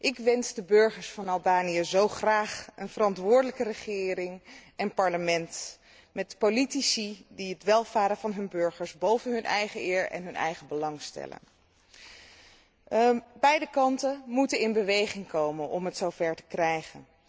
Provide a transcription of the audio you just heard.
Ik wens de burgers van Albanië zo graag een verantwoordelijke regering en verantwoordelijk parlement, met politici die het welvaren van hun burgers boven hun eigen eer en belang stellen. Beide kanten moeten in beweging komen om het zover te krijgen.